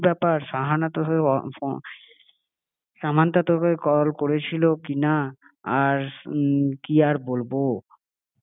যে কি ব্যাপার সাহানা তো হয়ে সামান্থা তো হয়ে কল করেছিল কি না আর কি আর বলবো?